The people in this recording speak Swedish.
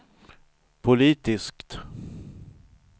politiskt